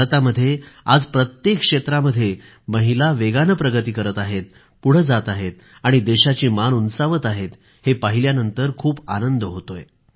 भारतामध्ये आज प्रत्येक क्षेत्रामध्ये महिला वेगानं प्रगती करीत आहेत पुढं जात आहेत आणि देशाची मान उंचावत आहेत हे पाहिल्यानंतर खूप आनंद होतोय